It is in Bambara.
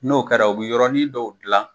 N'o kɛra u bi yɔrɔnin dɔw dilan.